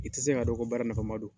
I tɛ se k'a dɔn ko baara nafama don